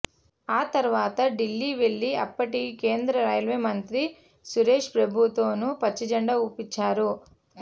ఆ తర్వాత ఢిల్లీ వెళ్లి అప్పటి కేంద్రం రైల్వేమంత్రి సురేశ్ప్రభుతోనూ పచ్చజెండా ఊపించారు